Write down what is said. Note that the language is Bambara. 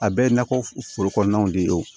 A bɛɛ ye nakɔ foro kɔnɔnaw de ye